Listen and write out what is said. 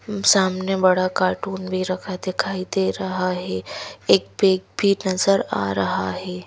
सामने बड़ा कार्टून भी रखा दिखाई दे रहा है एक बेग भी नजर आ रहा है।